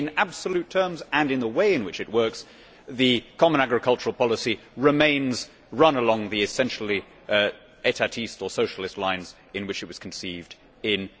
In absolute terms and in the way in which it works, the common agricultural policy is still run along the essentially or socialist lines in which it was conceived in